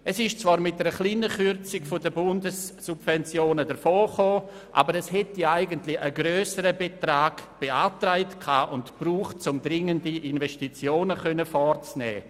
Dieses ist zwar mit einer geringen Institution Kürzung der Bundessubventionen davongekommen, aber es hätte eigentlich einen höheren Betrag beantragt und benötigt, um dringende Investitionen vorzunehmen.